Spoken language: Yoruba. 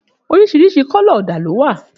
Òrísìrísì kọlọ òdá ló wà